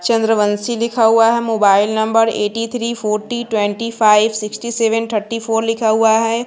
चंद्रवंशी लिखा हुआ है mobile number eighty three forty twenty five sixty seven thirty four लिखा हुआ है।